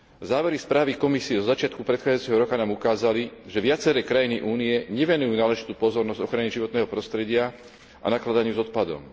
Závery správy Komisie zo začiatku predchádzajúceho roka nám ukázali, že viaceré krajiny Únie nevenujú náležitú pozornosť ochrane životného prostredia a nakladaniu s odpadom.